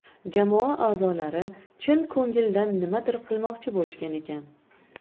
Jamoa a’zolari chin ko‘ngildan nimadir qilmoqchi bo‘lishgan ekan.